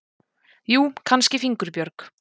Jú, kannski fingurbjörg.